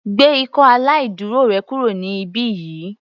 Gbé ikọ́ aláìdúró rẹ kúrò ní ibí yìí.